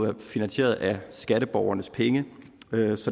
jo finansieret af skatteborgernes penge